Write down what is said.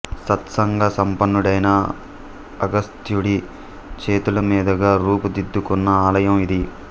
సత్సంగ సంపన్నుడైన అగస్త్యుడి చేతుల మీదుగా రూపుదిద్దుకున్న ఆలయం ఇది